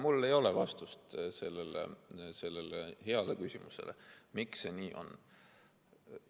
Mul ei ole vastust sellele heale küsimusele, miks see nii on.